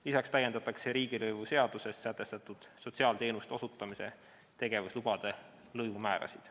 Lisaks täiendatakse riigilõivuseaduses sätestatud sotsiaalteenuste osutamise tegevuslubade lõivumäärasid.